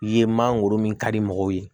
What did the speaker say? Ye mangoro min ka di mɔgɔw ye